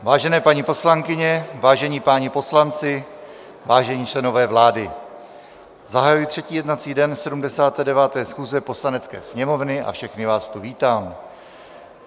Vážené paní poslankyně, vážení páni poslanci, vážení členové vlády, zahajuji třetí jednací dne 79. schůze Poslanecké sněmovny a všechny vás tu vítám.